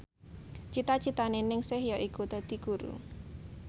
cita citane Ningsih yaiku dadi guru